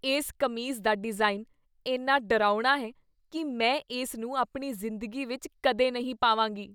ਇਸ ਕਮੀਜ਼ ਦਾ ਡਿਜ਼ਾਈਨ ਇੰਨਾ ਡਰਾਉਣਾ ਹੈ ਕੀ ਮੈਂ ਇਸ ਨੂੰ ਆਪਣੀ ਜ਼ਿੰਦਗੀ ਵਿੱਚ ਕਦੇ ਨਹੀਂ ਪਾਵਾਂਗੀ।